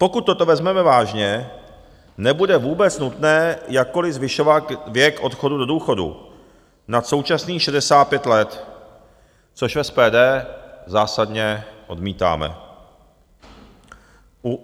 Pokud toto vezmeme vážně, nebude vůbec nutné jakkoliv zvyšovat věk odchodu do důchodu nad současných 65 let, což v SPD zásadně odmítáme.